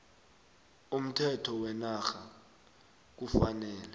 umthetho wenarha kufanele